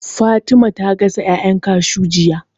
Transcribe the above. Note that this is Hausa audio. Fatima ta gasa ƴaƴan kashuw jiya